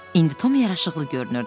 İndi Tom yaraşıqlı görünürdü.